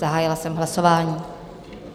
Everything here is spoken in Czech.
Zahájila jsem hlasování.